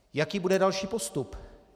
Jaký bude další postup?